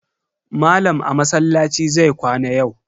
Malam a masallaci zai kwana yau.